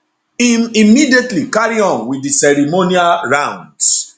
im immediately carry on wit di ceremonial rounds